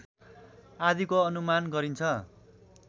आदिको अनुमान गरिन्छ